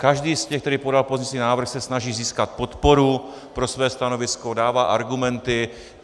Každý z těch, který podal pozměňovací návrh, se snaží získat podporu pro své stanovisko, dává argumenty.